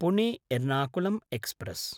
पुणे–एर्नाकुलं express